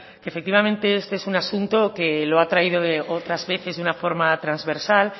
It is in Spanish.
que efectivamente este es un asunto que lo ha traído otras veces de una forma transversal